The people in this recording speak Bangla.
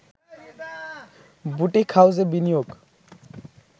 বুটিক হাউসে বিনিয়োগ